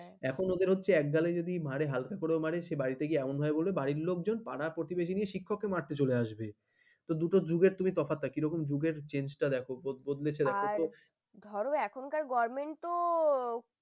এখন ওদের হচ্ছে এক গালে মারে হালকা করো মানে সে বাড়িতে গিয়ে এমন হয় বলবে বাড়ির লোকজন পাড়া-প্রতিবেশিনি শিক্ষক মারতে চলে আসবে তো দুটো যুগের তুমি তফাতটা কিরকম যুগের change টা দেখো বদলে এসে দেখো আর এখনকার guardian তো